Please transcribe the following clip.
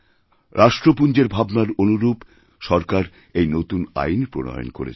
রাষ্ট্রপুঞ্জের ভাবনার অনুরূপ সরকার এই নতুন আইন প্রণয়ন করেছেন